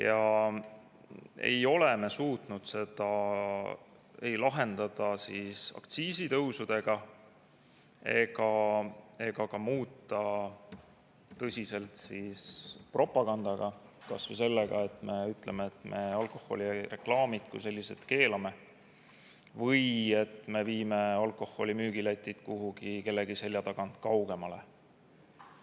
Me ei ole suutnud seda lahendada ei aktsiisitõusudega ega ka muuta tõsiselt propagandaga, kas või sellega, et me alkoholireklaamid kui sellised keelame või et me viime alkoholimüügiletid Lätist kuhugi, kellegi selja tagant kaugemale.